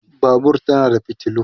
Babur tana da fitilu